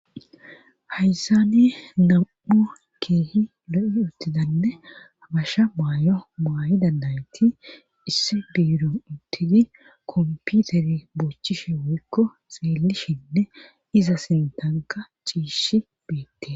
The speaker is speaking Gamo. hayssani nam7u keehi lo7i uttidanne abasha maayo maayi dandayti issi biiru uttidi komputeri boochchishe woykko xeelishinne iza sintanka ciishi beette